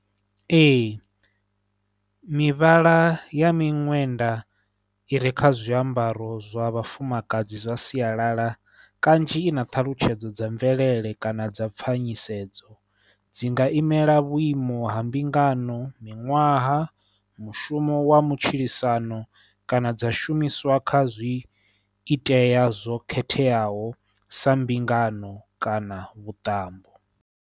Ee mivhala ya miṅwenda i re kha zwiambaro zwa vhafumakadzi zwa sialala kanzhi i na ṱhalutshedzo dza mvelele kana dza pfhanyisedzo, dzi nga imela vhuimo ha mbingano, miṅwaha, mushumo wa matshilisano kana dza shumiswa kha zwiitea zwo khetheaho sa mbingano kana vhuṱambo.